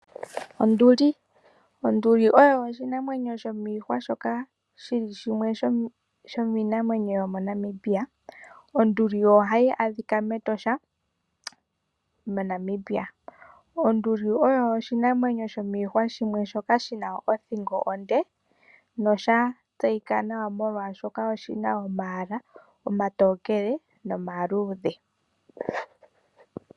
Onduli oyo oshinanwenyo shomiihwwa shomo Namibia shoka hashi adhika metosha. Onduli oshinanwenyo shina othingo onde nosha tseyika nawa molwaashoka oshina omayala omatokele nomaluudhe.